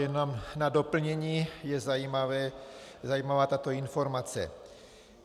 Jenom na doplnění je zajímavá tato informace.